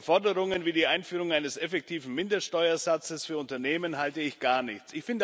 Von Forderungen wie der Einführung eines effektiven Mindeststeuersatzes für Unternehmen halte ich gar nichts.